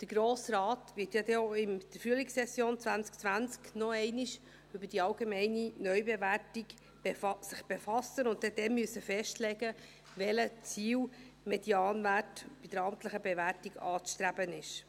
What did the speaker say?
Der Grosse Rat wird sich in der Frühlingssession 2020 noch einmal mit der allgemeinen Neubewertung befassen und dort festlegen, welcher Ziel-Medianwert bei der amtlichen Bewertung anzustreben ist.